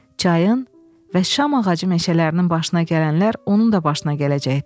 Çayın və şam ağacı meşələrinin başına gələnlər onun da başına gələcəkdi.